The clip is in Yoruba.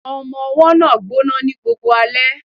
Ọmọ-ọwọ́ náà ń gbọ́ná ní gbogbo alẹ́